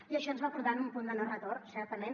i això ens va portar a un punt de no retorn certament